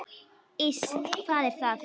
Iss, hvað er það?